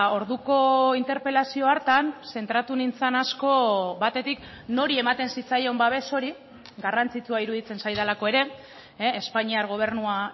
orduko interpelazio hartan zentratu nintzan asko batetik nori ematen zitzaion babes hori garrantzitsua iruditzen zaidalako ere espainiar gobernua